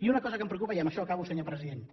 i una cosa que em preocupa i amb això acabo senyor president